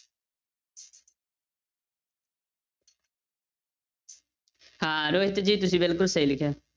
ਹਾਂ ਰੋਹਿਤ ਜੀ ਤੁਸੀਂ ਬਿਲਕੁਲ ਸਹੀ ਲਿਖਿਆ।